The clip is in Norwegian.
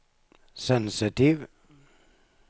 sensitiv